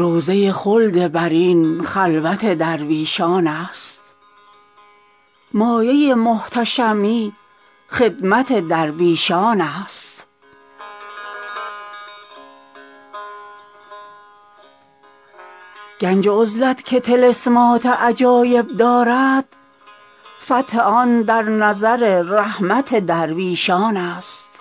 روضه خلد برین خلوت درویشان است مایه محتشمی خدمت درویشان است گنج عزلت که طلسمات عجایب دارد فتح آن در نظر رحمت درویشان است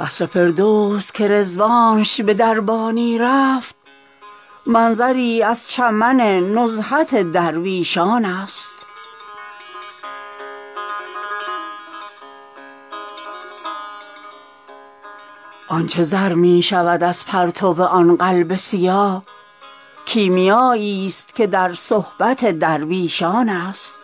قصر فردوس که رضوانش به دربانی رفت منظری از چمن نزهت درویشان است آن چه زر می شود از پرتو آن قلب سیاه کیمیاییست که در صحبت درویشان است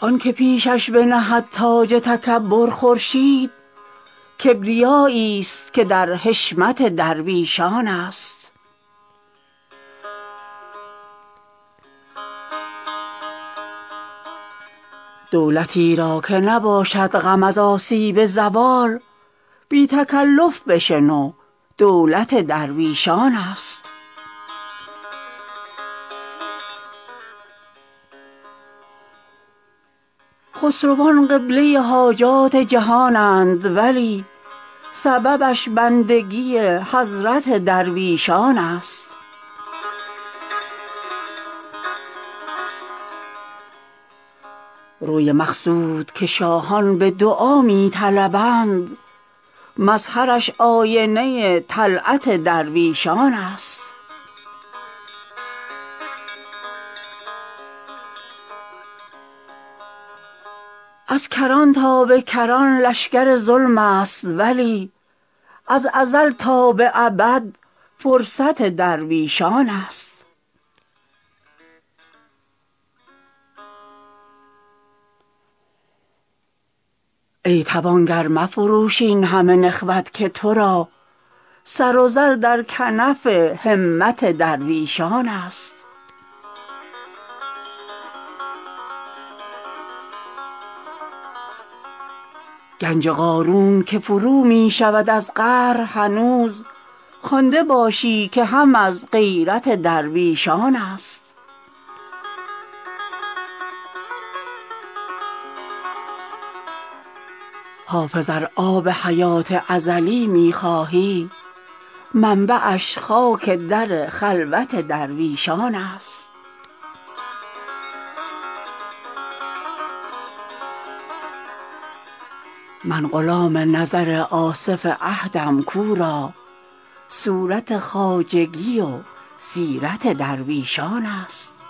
آن که پیشش بنهد تاج تکبر خورشید کبریاییست که در حشمت درویشان است دولتی را که نباشد غم از آسیب زوال بی تکلف بشنو دولت درویشان است خسروان قبله حاجات جهانند ولی سببش بندگی حضرت درویشان است روی مقصود که شاهان به دعا می طلبند مظهرش آینه طلعت درویشان است از کران تا به کران لشکر ظلم است ولی از ازل تا به ابد فرصت درویشان است ای توانگر مفروش این همه نخوت که تو را سر و زر در کنف همت درویشان است گنج قارون که فرو می شود از قهر هنوز خوانده باشی که هم از غیرت درویشان است حافظ ار آب حیات ازلی می خواهی منبعش خاک در خلوت درویشان است من غلام نظر آصف عهدم کو را صورت خواجگی و سیرت درویشان است